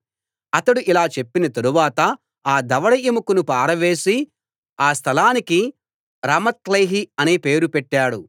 అతడు ఇలా చెప్పిన తరువాత ఆ దవడ ఎముకను పారవేసి ఆ స్థలానికి రామత్లేహి అనే పేరు పెట్టాడు